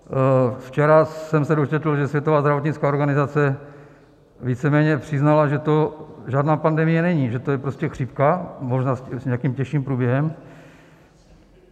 Včera jsem se dočetl, že Světová zdravotnická organizace víceméně přiznala, že to žádná pandemie není, že to je prostě chřipka, možná s nějakým těžším průběhem.